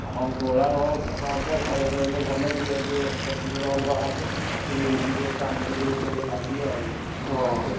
ହଁ, ପଳାଓ ଭଲ ହବ। ଘରେ ରହିଲେ ଭଲ ଟିକେ ସେପଟରୁ ଅଲଗା ହବ। ଇଠି ବି ଟିକ କାମରୁ ଟିକେ ଭଲ ଲାଗିବ ଆଉ ।